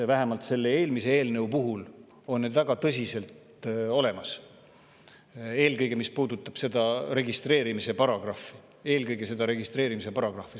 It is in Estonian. Vähemalt selle eelmise eelnõu puhul on need väga tõsiselt olemas, eelkõige, mis puudutab seda registreerimise paragrahvi.